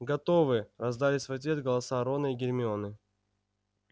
готовы раздались в ответ голоса рона и гермионы